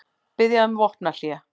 Biðja um vopnahlé